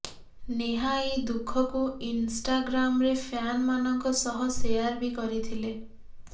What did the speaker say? ନେହା ଏହି ଦୁଃଖକୁ ଇନଷ୍ଟାଗ୍ରାମା୍ରେ ଫ୍ୟାନ୍ ମାନଙ୍କ ସହ ସେୟାର ବି କରିଥିଲେ